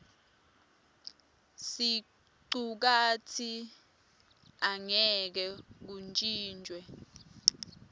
sicukatsi angeke kuntjintjwe